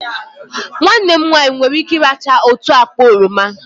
Nwanne m nwanyị nwere ike ị́rachaa otu akpa oroma